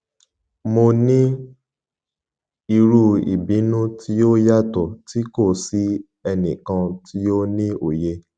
mo ni iru ibinu ti o yatọ ti ko si ẹnikan ti o ni oye